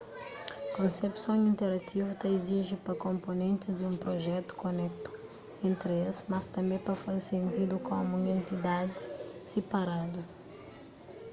konsepson interativu ta iziji pa konponentis di un prujetu koneta entri es mas tanbê pa faze sentidu komu un entidadi siparadu